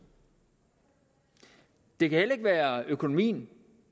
det kan heller ikke være økonomien